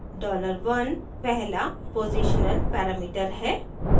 $dollar 1 पहला positional parameter है